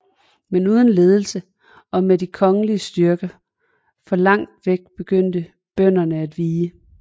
Men uden ledelse og med de kongelige styrker for langt væk begyndte bønderne at vige